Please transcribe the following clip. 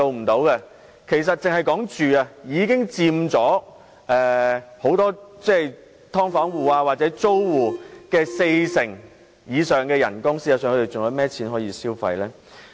單單在住屋方面，已佔去很多"劏房戶"或租戶的工資四成以上，他們還有甚麼餘錢可消費？